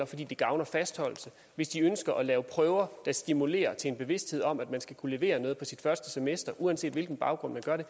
fordi det gavner fastholdelse hvis de ønsker at lave prøver der stimulerer til en bevidsthed om at man skal kunne levere noget på sit første semester uanset hvilken baggrund man gør det